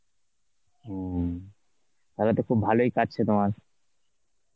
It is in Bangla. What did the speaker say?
হম, তাহলে তো খুব ভালোই কাটছে তোমার.